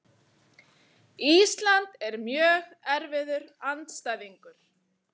Ísland er mjög erfiður andstæðingur.